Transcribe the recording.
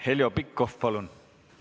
Heljo Pikhof, palun!